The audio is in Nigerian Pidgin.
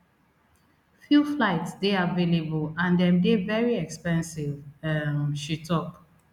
few flights dey available and dem dey very expensive um she tok